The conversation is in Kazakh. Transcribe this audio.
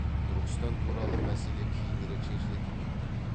түркістан туралы мәселе кейінірек шешілетін болды